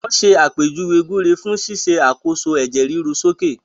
Wọ́n ṣàpèjúwe gbúre fún ṣíṣe àkóso ẹ̀jẹ̀ ríru sókè